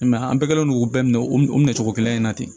I m'a ye an bɛɛ kɛlen don k'u bɛɛ minɛ o minɛ cogo kelen in na ten